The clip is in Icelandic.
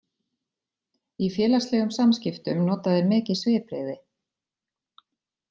Í félagslegum samskiptum nota þeir mikið svipbrigði.